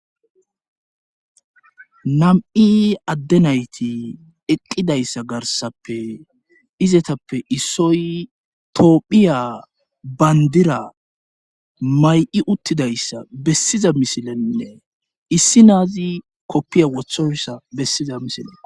nam7i adde nayti eqqidayssa garsappe izetappe issoy toophiya bayndira may7i uttidayssa bessiza misilenne issi naazi koppiya wothoyssa bessiza misile